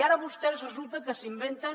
i ara vostès resulta que s’inventen